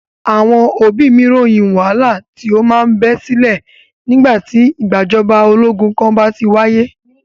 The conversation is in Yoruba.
Àwọn òbí mí ròyìn wàhálà tí o máa ń bẹ sílẹ̀ nígbà tí ìgbàjọba ológun kan bá ti wáyé.